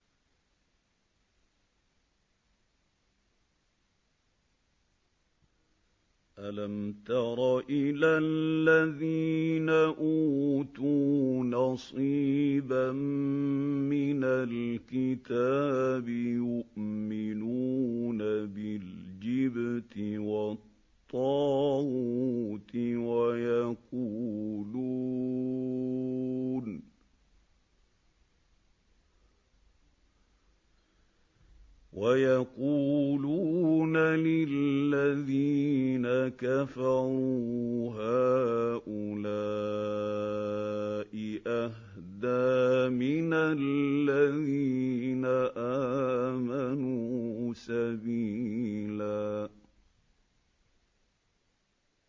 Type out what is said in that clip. أَلَمْ تَرَ إِلَى الَّذِينَ أُوتُوا نَصِيبًا مِّنَ الْكِتَابِ يُؤْمِنُونَ بِالْجِبْتِ وَالطَّاغُوتِ وَيَقُولُونَ لِلَّذِينَ كَفَرُوا هَٰؤُلَاءِ أَهْدَىٰ مِنَ الَّذِينَ آمَنُوا سَبِيلًا